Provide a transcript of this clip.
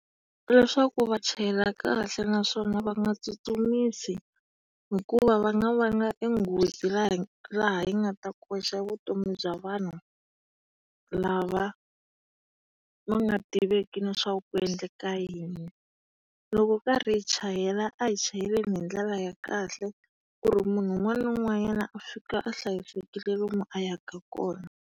Leswaku va chayela kahle naswona va nga tsutsumisi hikuva va nga vanga e nghozi la laha yi nga ta koxa vutomi bya vanhu lava va nga tiveki na leswaku ku endleka yini. Loko hi karhi hi chayela a hi chayeleni hi ndlela ya kahle, ku ri munhu un'wana na un'wanyana a fika a hlayisekile lomu a yaka kona.